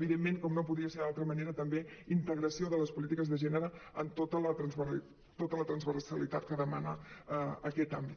evidentment com no podia ser d’altra manera també integració de les polítiques de gènere en tota la transversalitat que demana aquest àmbit